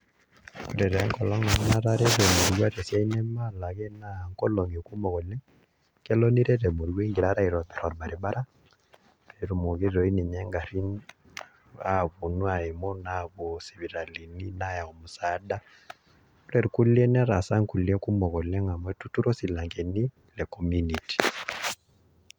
Ore taa enkolong' natareto emurua tesiai namaalaki naa nkolong'i kumok oleng', kelo niret emuruua ingirara aitobirr orbaribara pee etumoki toi ninye ngarrin aetu aaim naapuo sipitalini naayau musaada, ore irkulie netaasa nkulie kumok oleng' amu etuturo isilankeni e community.